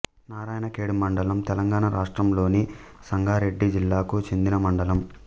నారాయణఖేడ్ మండలం తెలంగాణ రాష్ట్రంలోని సంగారెడ్డి జిల్లాకు చెందిన మండలం